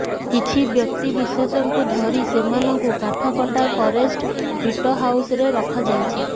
କିଛି ବ୍ୟକ୍ତି ବିଶେଷ ଙ୍କୁ ଧରି ସେମାନଙ୍କୁ କାଠ କଟା ଫରେଷ୍ଟ ବିଟ ହାଉସ ରେ ରଖାଯାଇଛି